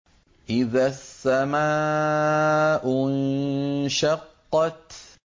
إِذَا السَّمَاءُ انشَقَّتْ